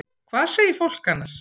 Hvað segir fólk annars?